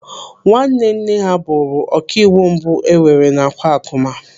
Nwanne nne ha bụrụ ọkàịwụ mbụ enwere n'Akwakụma.